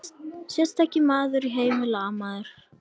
Sterkasti maður í heimi lamaður!